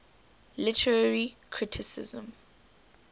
literary criticism